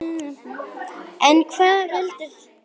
En hvað veldur?